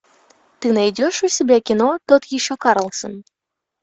ты найдешь у себя кино тот еще карлсон